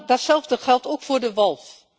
Datzelfde geldt ook voor de wolf.